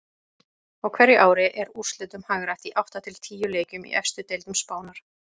Á hverju ári er úrslitum hagrætt í átta til tíu leikjum í efstu deildum Spánar.